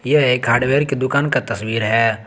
यह एक हार्डवेयर की दुकान का तस्वीर है।